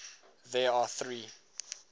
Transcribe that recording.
there are three